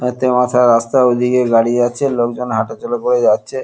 তিনটে মাথা রাস্তা ওদিকে গাড়ি যাচ্ছে লোকজন হাঁটাচলা করে যাচ্ছে।